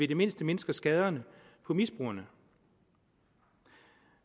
det mindste mindsker skaderne på misbrugerne